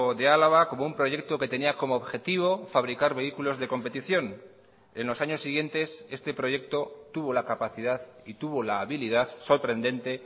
de álava como un proyecto que tenía como objetivo fabricar vehículos de competición en los años siguientes este proyecto tuvo la capacidad y tuvo la habilidad sorprendente